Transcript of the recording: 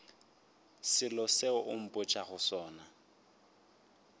selo seo o mpotšago sona